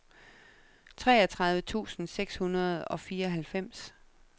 treogtredive tusind seks hundrede og fireoghalvfems